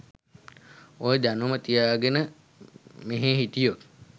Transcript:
ඔය දැනුම තියාගෙන මෙහෙ හිටියොත්